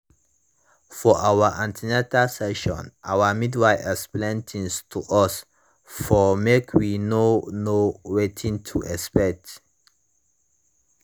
for our an ten atal session our midwife explain tins to us for make we know know wetin to expect